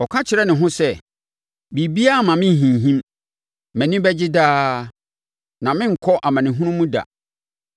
Ɔka kyerɛ ne ho sɛ: “Biribiara mma me nhinhim; mʼani bɛgye daa, na merenkɔ amanehunu mu da.”